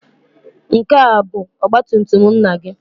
Nke a bụ ọgba tum tum nna gị?